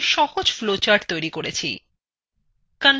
আমরা একটি সহজ flowchart তৈরি করেছি!